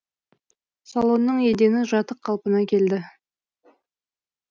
салонның едені жатық қалпына келді